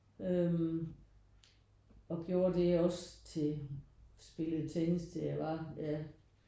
Øh og gjorde det også til spillede tennis til jeg var ja